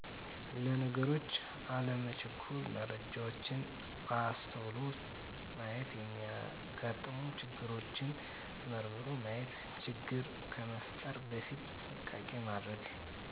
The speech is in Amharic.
ለነገሮች አለመቸኮል መረጃዎችን በአስተዉሎ ማየት የሚያጋጥሙ ችግሮችን መርምሮ ማየት ችግር ከመፍጠር በፊት ጥንቃቄ ማድረግ